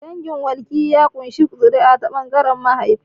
Dangin walki ya ƙunshi zuri'a ta ɓangaren mahaifi.